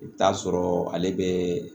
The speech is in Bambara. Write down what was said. I bɛ taa sɔrɔ ale bɛ